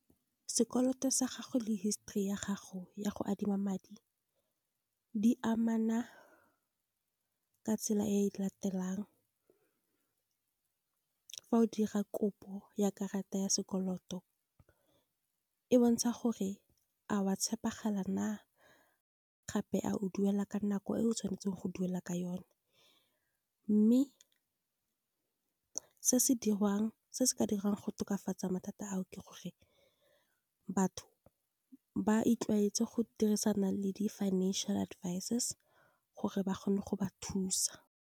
Sekoloto sa gago le histori ya gago ya go adima madi, di amana ka tsela e latelang. Fa o dira kopo ya karata ya sekoloto, e bontsha gore a wa tshepegala na, gape a o duela ka nako e o tshwanetseng go duela ka yone. Mme se se ka diriwang go tokafatsa mathata ao, ke gore batho ba itlwaetse go dirisana le di financial advisors, gore ba kgone go ba thusa.